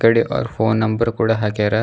ಕೆಡಿಗ್ ಅವ್ರ್ phone number ಕೂಡ ಹಾಕ್ಯಾರ.